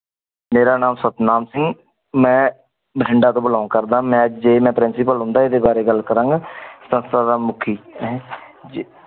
ਮੇਰਾ ਨਾਮ ਸਤਨਾਮ ਸਿੰਗ ਮੈਂ ਭਟਿੰਡਾ ਤੋ belong ਕਰਦਾ ਆਂ ਮੈਂ ਜੇ ਮੈਂ principal ਹੋਂਦਾ ਏਦੇ ਬਾਰੇ ਗੱਲ ਕਰਾਂਗਾ ਸੰਸਥਾ ਦਾ ਮੁਖੀ ਹਨ ਜੀ